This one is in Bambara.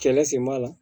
Kɛlɛ sen b'a la